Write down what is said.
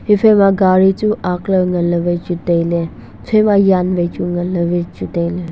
hiphaima gari chu aakley nganley vai chu tailay hiphaima yan vai chu nganlay vai tailay.